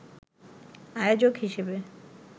আয়োজক হিসেবে